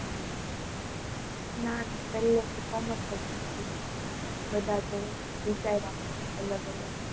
નાના પહેલેથી કોમર્સ જ નક્કી હતું. બધા જોડે વિચારી રાખેલું અલગ અલગ